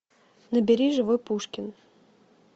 набери живой пушкин